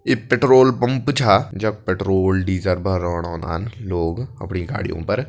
इ petrol pump छा जख पेट्रोल डीजल भरोंण ओनदन लोग अपड़ी गाड़ियों पर।